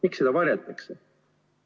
Miks seda varjatakse?